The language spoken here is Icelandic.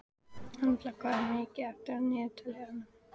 Embla, hvað er mikið eftir af niðurteljaranum?